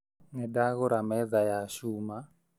Nĩ ndagũra metha ya cuma